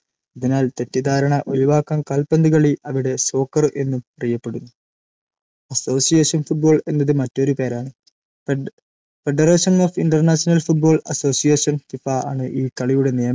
അതിനാൽ തെറ്റിദ്ധാരണ ഒഴിവാക്കാൻ കാൽപന്തുകളി അവിടെ സോക്കർ എന്നും അറിയപ്പെടുന്നു. association football എന്നത് മറ്റൊരു പേരാണ് Federation of International Football AssociationFIFA ആണ്‌ ഈ കളിയുടെ നിയമങ്ങൾ